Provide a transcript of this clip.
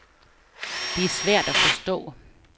Det er svært at forstå.